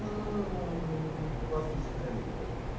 não não não gosto de ficar lembrando.